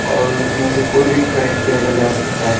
और उसमें से कोई भी खरीद कर लेकर जा सकता है।